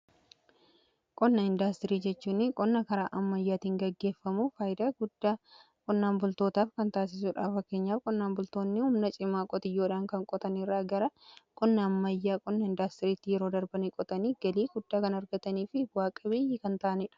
Qonna indaastirii jechuun qonna karaa ammayyaatiin gaggeeffamuu faayidaa guddaa qonnaan bultootaaf kan taasisuudha. Fakeenyaaf qonnaan bultoonni humna cimaa qotiyyoodhaan kan qotaniirraa gara qonna ammayyaa qonna indaastiriitti yeroo darbanii qotanii galii guddaa kan argatanii fi bu'aa qabeeyyii kan ta'aniidha.